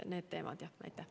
Need teemad olid jutuks.